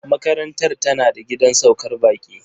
Makarantar tana da gidan saukar baƙi.